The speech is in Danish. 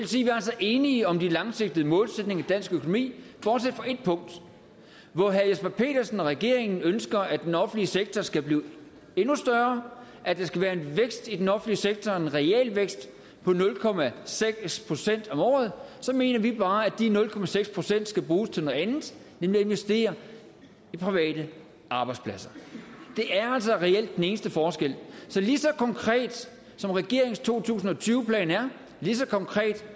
enige om de langsigtede målsætninger i dansk økonomi bortset fra et punkt hvor herre jesper petersen og regeringen ønsker at den offentlige sektor skal blive endnu større at der skal være vækst i den offentlige sektor en realvækst på nul procent om året mener vi bare at de nul procent skal bruges til noget andet nemlig at investere i private arbejdspladser det er altså reelt den eneste forskel så lige så konkret som regeringens to tusind og tyve plan er lige så konkret